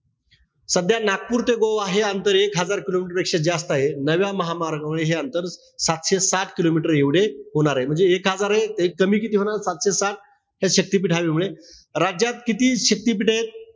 सध्या नागपूर ते गोवा हे अंतर एक हजार kilometer पेक्षा जास्त आहे. नव्या महामार्गावर हे अंतर सातशे सात kilometer एवढे होणारे. म्हणजे एक हजर एक, कमी किती होणार? सातशे सात. हे शक्तीपीठ हवे मुळे. राज्यात किती शक्तिपीठं आहेत?